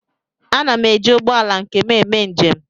Ana m eji ụgbọ ala nke m eme njem